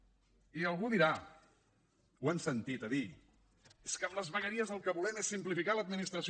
i algú dirà ho hem sentit a dir és que amb les vegueries el que volem és simplificar l’administració